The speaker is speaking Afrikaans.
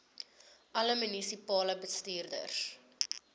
alle munisipale bestuurders